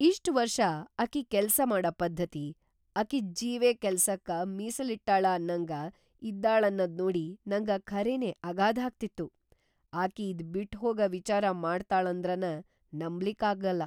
ಇಷ್ಟ್‌ ವರ್ಷ ಅಕಿ ಕೆಲ್ಸಾ ಮಾಡ ಪದ್ಧತಿ, ಅಕಿದ್‌ ಜೀವೇ ಕೆಲ್ಸಕ ಮೀಸಲಿಟ್ಟಾಳ ಅನ್ನಂಗ ಇದ್ದಾಳನ್ನದ್‌ ನೋಡಿ ನಂಗ ಖರೆನೇ ಅಗಾಧಾಗ್ತಿತ್ತು; ಅಕಿ ಇದ್‌ ಬಿಟ್ಟಹೋಗ ವಿಚಾರ ಮಾಡ್ತಾಳಂದ್ರನೇ ನಂಬ್ಲಿಕ್ಕಾಗಲ್ಲಾ.